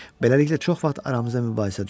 Beləliklə çox vaxt aramızda mübahisə düşürdü.